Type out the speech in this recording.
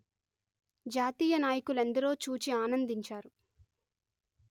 జాతీయ నాయకులెందరో చూచి ఆనందించారు